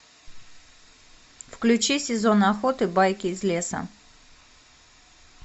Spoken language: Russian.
включи сезон охоты байки из леса